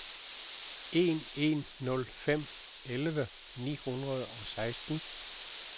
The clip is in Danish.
en en nul fem elleve ni hundrede og seksten